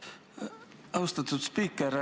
Aitäh, austatud spiiker!